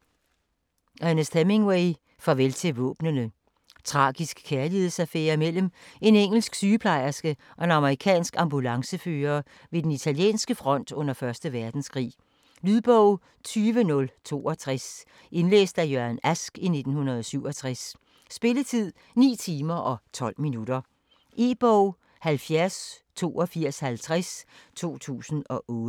Hemingway, Ernest: Farvel til våbnene Tragisk kærlighedsaffære mellem en engelsk sygeplejerske og en amerikansk ambulancechauffør ved den italienske front under 1. verdenskrig. Lydbog 20062 Indlæst af Jørgen Ask, 1967. Spilletid: 9 timer, 12 minutter. E-bog 708250 2008.